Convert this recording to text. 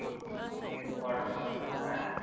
আবার হ্যাঁ?